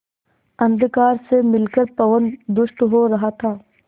अंधकार से मिलकर पवन दुष्ट हो रहा था